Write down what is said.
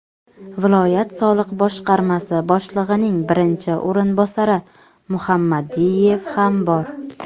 viloyat soliq boshqarmasi boshlig‘ining birinchi o‘rinbosari Muhammadiyev ham bor.